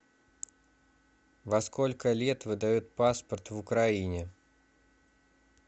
во сколько лет выдают паспорт в украине